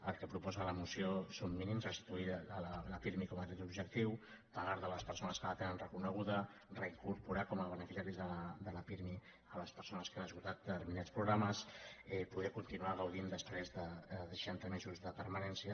el que proposa la moció són mínims restituir la pirmi com a dret objectiu pagar la a les persones que la tenen reconeguda reincorporar com a beneficiaris de la pirmi les persones que han esgotat determinats programes poder continuar gaudint després de seixanta mesos de permanència